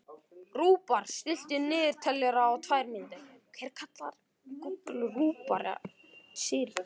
Rúbar, stilltu niðurteljara á tvær mínútur.